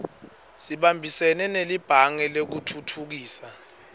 sibambisene nelibhange lekutfutfukisa